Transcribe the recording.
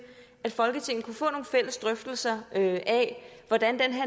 at folketinget kan få nogle fælles drøftelser af hvordan den